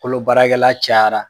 Kolo baarakɛla cayara